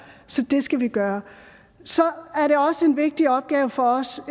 så det skal vi gøre så er det også en vigtig opgave for os